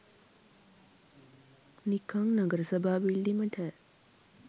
නිකං නගර සභා බිල්ඩිමට